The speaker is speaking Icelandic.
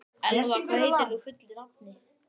Elfa, hvað heitir þú fullu nafni?